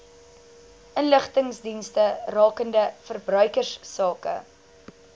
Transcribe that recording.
inligtingsdienste rakende verbruikersake